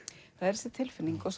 það er þessi tilfinning og